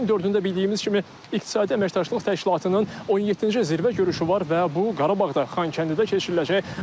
Ayın dördündə bildiyimiz kimi İqtisadi Əməkdaşlıq Təşkilatının 17-ci zirvə görüşü var və bu Qarabağda Xankəndidə keçiriləcək.